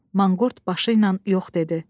Manqurt başı ilə yox dedi.